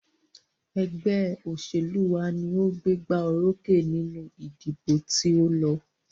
Ẹgbẹ́ òṣèlú wa ní o gbégbá orókè nínú ìdìbò tí o lọ.